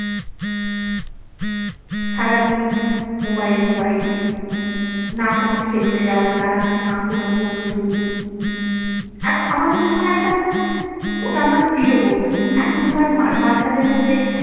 সারাদিন mobile mobile । না কোনো খেলতে যাওয়ার তাড়া, না কোনো বন্ধু। এখন আমাদের সময় একটা ওটা আমার প্রিয় বন্ধু, এখনকার বাচ্চাদের মধ্যে।